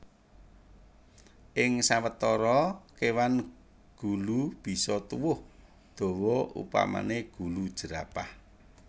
Ing sawetara kéwan gulu bisa tuwuh dawa upamané gulu jerapah